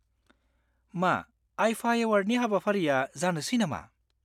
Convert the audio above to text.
मा IIFA Awardनि हाबाफारिया जानोसै नामा?